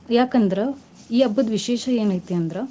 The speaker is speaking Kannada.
ಯಾಕಂದ್ರ ಈ ಹಬ್ಬದ್ ವಿಶೇಷ ಎನೈತಿ ಅಂದ್ರ.